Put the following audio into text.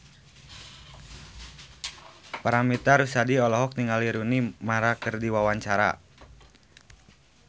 Paramitha Rusady olohok ningali Rooney Mara keur diwawancara